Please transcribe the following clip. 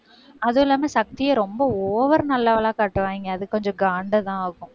அதுவும் இல்லாம சக்தியை ரொம்ப over நல்லவளா காட்டுவாங்க. அது கொஞ்சம் காண்டுதான் ஆகும்.